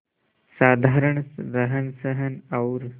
साधारण रहनसहन और